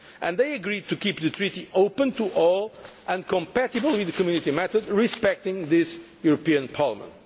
And they agreed to keep the Treaty open to all and compatible with the Community method, respecting this European Parliament.